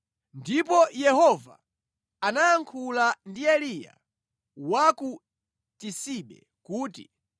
Ndipo Yehova anayankhula ndi Eliya wa ku Tisibe kuti,